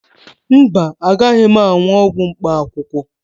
Mba, agaghị m aṅụ ọgwụ mkpaakwụkwọ